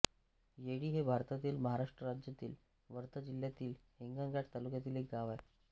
येळी हे भारतातील महाराष्ट्र राज्यातील वर्धा जिल्ह्यातील हिंगणघाट तालुक्यातील एक गाव आहे